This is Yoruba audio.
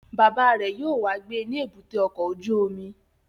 Bàbá rẹ̀ yóò wá gbé ní èbúté ọkọ̀ ojú omi